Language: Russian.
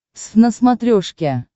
твз на смотрешке